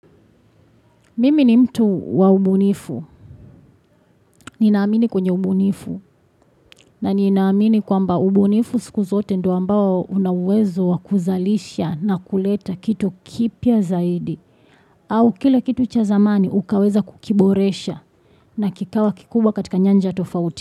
Mimi ni mtu wa ubunifu. Ni naamini kwenye ubunifu na ni naamini kwamba ubunifu siku zote ndo ambao unawezo wakuzalisha na kuleta kitu kipya zaidi. Au kile kitu cha zamani ukaweza kukiboresha na kikawa kikubwa katika nyanja tofauti.